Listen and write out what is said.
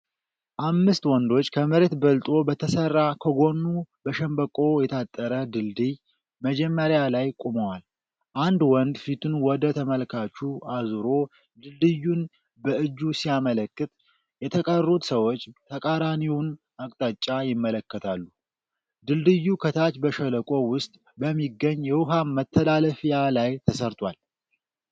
አምስት ወንዶች ከመሬት በልጦ በተሠራ፣ ከጎኑ በሸንበቆ የታጠረ ድልድይ መጀመሪያ ላይ ቆመዋል። አንድ ወንድ ፊቱን ወደ ተመልካቹ አዙሮ ድልድዩን በእጁ ሲያመለክት፣ የተቀሩት ሰዎች ተቃራኒውን አቅጣጫ ይመለከታሉ። ድልድዩ ከታች በሸለቆ ውስጥ በሚገኝ የውሃ መተላለፊያ ላይ ተሠርቷል።